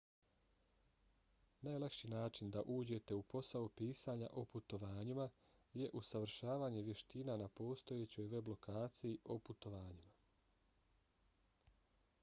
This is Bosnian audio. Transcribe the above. najlakši način da uđete u posao pisanja o putovanjima je usavršavanje vještina na postojećoj web lokaciji o putovanjima